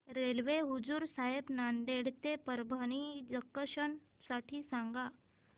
railway Hazur Sahib Nanded ते Parbhani junction साठी सांगा